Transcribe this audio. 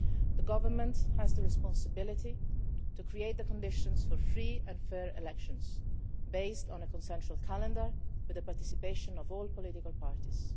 The Government has the responsibility to create the conditions for free and fair elections, based on a consensual calendar and with the participation of all political parties.